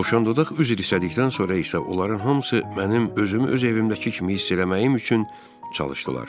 Dovşan Dodaq üzr istədikdən sonra isə onların hamısı mənim özümü öz evimdəki kimi hiss eləməyim üçün çalışdılar.